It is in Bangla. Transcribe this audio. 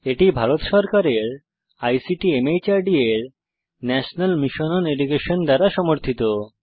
এটি ভারত সরকারের আইসিটি মাহর্দ এর ন্যাশনাল মিশন ওন এডুকেশন দ্বারা সমর্থিত